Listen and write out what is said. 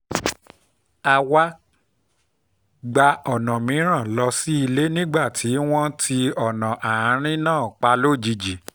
a wá gba ọ̀nà mìíràn lọ sílé nígbà tí wọ́n ti ọ̀nà àárín náà pa lójijì